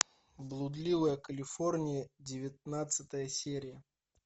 блудливая калифорния девятнадцатая серия